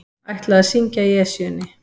Ætla að syngja í Esjunni